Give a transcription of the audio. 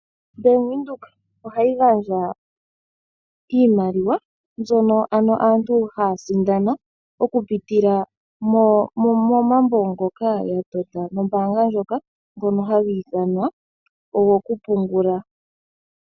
Bank Windhoek ohayi gandja iimaliwa mbyono ano aantu haya sindana oku pitila momambo ngoka ya tota nombaanga ndjoka ngono haga ithanwa ogo kupungula.